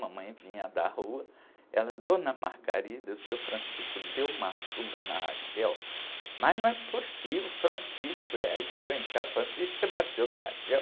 Mamãe vinha da rua, ela, dona, o seu deu uma açúcar na. Mas não é possível, o? É, aí chegou em cá, você bateu na?